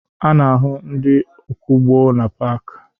A na-ahụ ndị ọkwọụgbọ na paakị